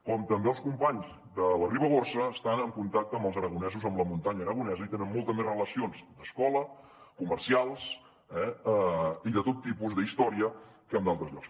com també els companys de la ribagorça estan en contacte amb els aragonesos amb la muntanya aragonesa i hi tenen moltes més relacions d’escola comercials i de tot tipus d’història que amb d’altres llocs